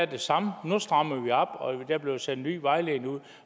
det samme at nu strammer vi op og der blev sendt nye vejledninger ud